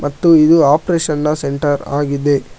ಮತ್ತು ಇದು ಆಪರೇಷನ್ ನ ಸೆಂಟರ್ ಆಗಿದೆ.